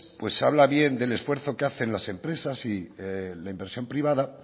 pues se habla bien del esfuerzo que hacen las empresas y la inversión privada